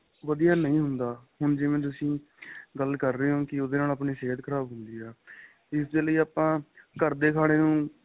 ਵਧੀਆ ਨਹੀਂ ਹੁੰਦਾ ਹੁਣ ਜਿਵੇਂ ਤੁਸੀਂ ਗੱਲ ਰਹੇ ਹੋ ਕਿ ਉਹਦੇ ਨਾਲ ਆਪਣੀ ਸਿਹਤ ਖ਼ਰਾਬ ਹੁੰਦੀ ਏ ਇਸ ਦੇ ਲਈ ਆਪਾਂ ਘਰ ਦੇ ਖਾਣੇਂ ਨੂੰ